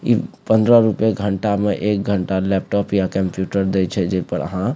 इ पंद्रा रुपया घंटा में एक घंटा लैपटॉप या कंप्यूटर दे छै जे पर आहां --